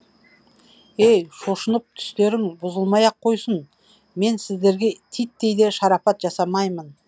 ей шошынып түстерің бұзылмай ақ қойсын мен сіздерге титтей де шарапат жасамаймын